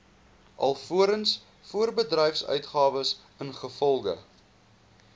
alvorens voorbedryfsuitgawes ingevolge